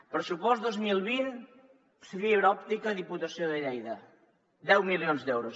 pressupost dos mil vint fibra òptica diputació de lleida deu milions d’euros